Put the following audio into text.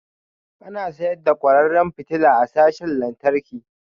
Ana sayar da kwararan fitila a sashin lantarki